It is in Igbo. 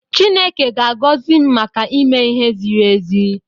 Chineke ga-agọzi m maka ime ihe ziri ezi.